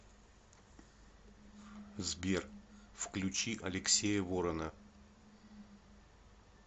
сбер включи алексея ворона